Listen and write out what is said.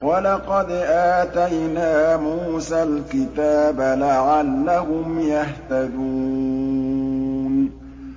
وَلَقَدْ آتَيْنَا مُوسَى الْكِتَابَ لَعَلَّهُمْ يَهْتَدُونَ